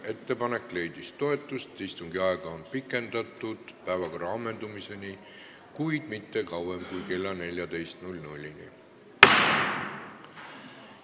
Ettepanek leidis toetust: istungi aega on pikendatud päevakorra ammendumiseni, kuid mitte kauem kui kella 14-ni.